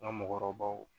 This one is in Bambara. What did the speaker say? N ka mɔgɔkɔrɔbaw